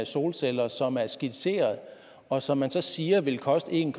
solceller som er skitseret og som man så siger vil koste en